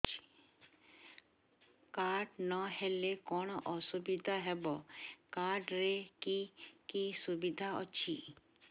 card ନହେଲେ କଣ ଅସୁବିଧା ହେବ କାର୍ଡ ରେ କି କି ସୁବିଧା ଅଛି